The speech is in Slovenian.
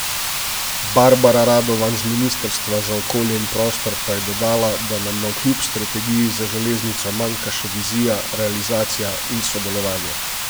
Barbara Radovan z ministrstva za okolje in prostor pa je dodala, da nam navkljub strategiji za železnico manjka še vizija, realizacija in sodelovanje.